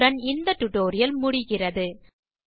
இத்துடன் இந்த டியூட்டோரியல் முடிகிறது